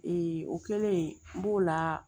o kɛlen n b'o la